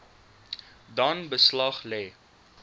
dan beslag lê